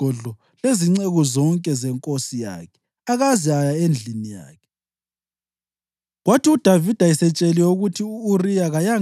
Kodwa u-Uriya walala entubeni yesigodlo lezinceku zonke zenkosi yakhe akaze aya endlini yakhe.